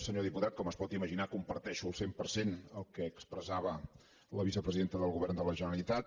senyor diputat com es pot imaginar comparteixo al cent per cent el que expressava la vicepresidenta del govern de la generalitat